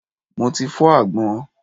Mo ti fọ́ àgbọn.